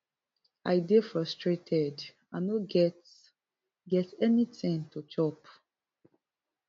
i dey fraustrated i no get get anytin to chop